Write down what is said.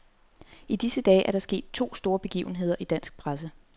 I disse dage er der sket to store begivenheder i dansk presse.